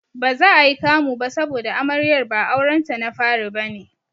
Baza ayi kamu ba saboda Amaryar ba aurenta na fari bane.